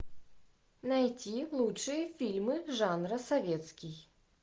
найти лучшие фильмы жанра советский